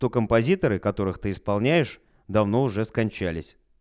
то композиторы которых ты исполняешь давно уже скончались